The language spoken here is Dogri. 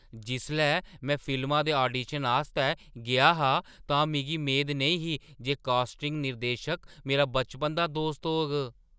जिसलै में फिल्मा दे आडीशन आस्तै गेआ हा, तां मिगी मेद नेईं ही जे कास्टिंग निर्देशक मेरा बचपन दा दोस्त होग।